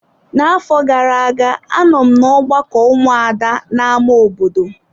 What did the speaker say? Na afọ gara-aga anọ m na ọgbakọ ụmụada na ámá obodo.